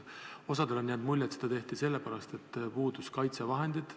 Osale meist on jäänud mulje, et seda tehti sellepärast, et puudusid kaitsevahendid.